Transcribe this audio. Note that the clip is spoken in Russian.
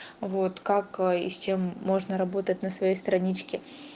вот как и с чем можно работать на своей страничке